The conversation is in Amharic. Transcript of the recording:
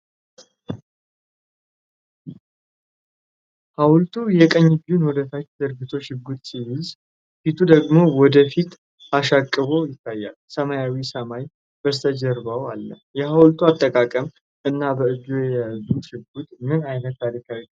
ሐውልቱ የቀኝ እጁን ወደ ታች ዘርግቶ ሽጉጥ ሲይዝ፣ ፊቱ ደግሞ ወደ ፊት አሻቅቦ ይታያል፤ ሰማያዊው ሰማይ በስተጀርባው አለ። የሐውልቱ አቀማመጥ እና በእጁ የያዘው ሽጉጥ ምን ዓይነት ታሪካዊ ክስተት ሊያመለክት ይችላል?